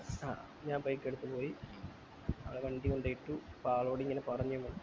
ആഹ് ഞാൻ break എടുപ്പിന് പോയി അവിടെ വണ്ടി കൊണ്ടോയി ഇട്ടു അപ്പൊ അഹ്ലോടി ഇങ്ങനെ പറഞ്ഞു നമ്മൾ